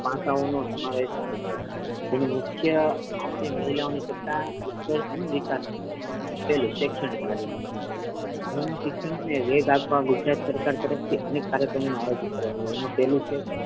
પાસાઓનો સમાવેશ થાય છે જેમા મુખ્ય આશે મહિલાઓ ની સત્તા ઉત્કર્ષ અને વિકાસ નુ છે પહેલું શૈક્ષણિક કાર્યક્રમ મહિલા શિક્ષણ ને વેગ આપવા ગુજરાત સરકાર તરફ થી અનેક કાર્યક્રમો નો આયોજન કરવામા આવ્યો છે એમા પહેલુ છે.